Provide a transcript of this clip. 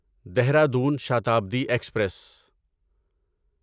Dehradun Shatabdi express